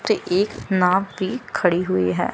पर एक नाव भी खड़ी हुई है।